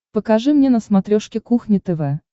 покажи мне на смотрешке кухня тв